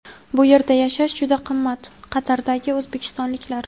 bu yerda yashash juda qimmat… – Qatardagi o‘zbekistonliklar.